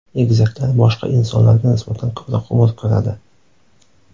Egizaklar boshqa insonlarga nisbatan ko‘proq umr ko‘radi.